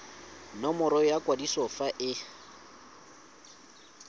nomoro ya kwadiso fa e